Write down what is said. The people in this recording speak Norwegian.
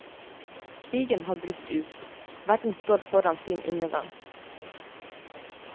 Krigen har brutt ut, verden står foran sin undergang.